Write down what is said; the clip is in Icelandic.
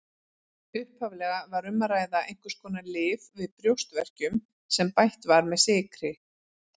Upphaflega var um að ræða einhvers konar lyf við brjóstverkjum sem bætt var með sykri.